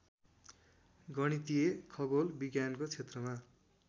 गणितीय खगोल विज्ञानको छेत्रमा